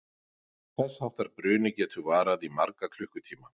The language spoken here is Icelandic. Þess háttar bruni getur varað í marga klukkutíma.